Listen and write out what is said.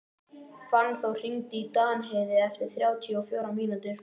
Fannþór, hringdu í Danheiði eftir þrjátíu og fjórar mínútur.